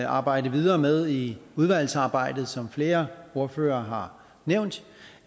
arbejde videre med i udvalgsarbejdet som flere ordførere har nævnt